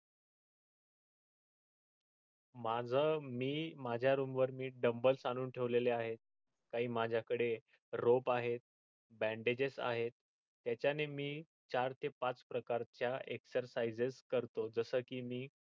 माझ मी माझ्या room वर मी doumble आणून ठेवलेल आहे काही माझ्या कडे robe आहेत bandages आहेत त्याच्याने मी चार ते पाच प्रकारच्या exercises करतो जसे की मी